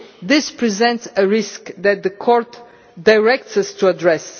This presents a risk that the Court directs us to address.